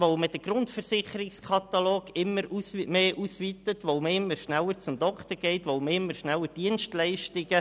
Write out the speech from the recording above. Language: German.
Man weitet den Grundversicherungskatalog immer mehr aus, man geht immer schneller zum Arzt und man beansprucht immer schneller Dienstleistungen.